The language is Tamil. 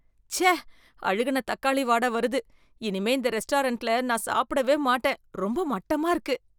ச்சே! அழுகுன தக்காளி வாட வருது. இனிமே இந்த ரெஸ்டாரண்ட்ல நான் சாப்பிடவே மாட்டேன். ரொம்ப மட்டமா இருக்கு!